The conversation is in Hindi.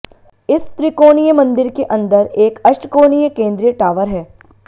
इस त्रिकोणीय मंदिर के अंदर एक अष्टकोणीय केंद्रीय टावर है